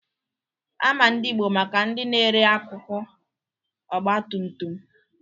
Ama ndị Ịgbo maka ndị na-ere akụkụ Ọgbatumtum